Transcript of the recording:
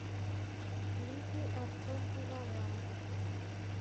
клипы артем пивоваров